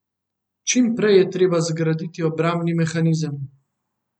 Čim prej je treba zgraditi obrambni mehanizem!